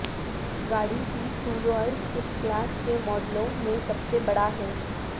گاڑی کی طول و عرض اس کلاس کے ماڈلوں میں سب سے بڑا ہیں